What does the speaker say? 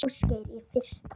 Ásgeir: Í fyrsta?